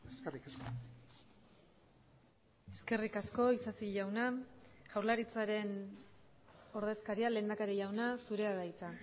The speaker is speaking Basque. eskerrik asko eskerrik asko isasi jauna jaurlaritzaren ordezkaria lehendakari jauna zurea da hitza